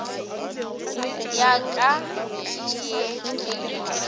ya ka ke ye ke